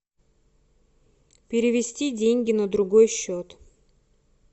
перевести деньги на другой счет